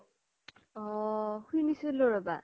অ শুনিছিলো ৰবা